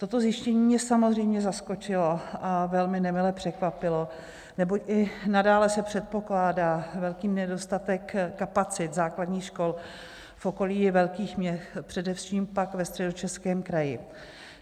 Toto zjištění mě samozřejmě zaskočilo a velmi nemile překvapilo, neboť i nadále se předpokládá velký nedostatek kapacit základních škol v okolí velkých měst, především pak ve Středočeském kraji.